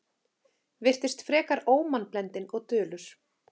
Virtist frekar ómannblendinn og dulur.